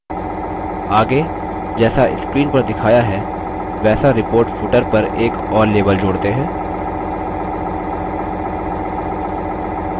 आगे जैसा screen पर दिखाया है वैसा report footer पर एक और label जोड़ते हैं